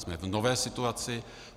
Jsme v nové situaci.